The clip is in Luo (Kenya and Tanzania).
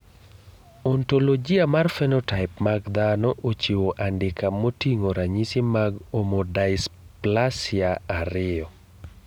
Ontologia mar phenotype mag dhano ochiwo andika moting`o ranyisi mag Omodysplasia 2.